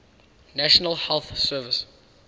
national health service